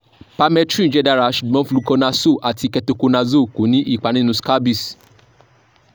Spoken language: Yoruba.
permethrin jẹ dara ṣugbọn fluconazole ati ketoconazole ko ni ipa ninu scabies